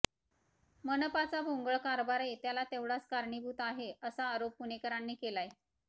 मनपाचा भोंगळ कारभारही त्याला तेवढाच कारणीभूत आहे असा आरोप पुणेकरांनी केलाय